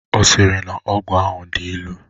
Ọ sịrị na ọgwụ ahụ dị ilu?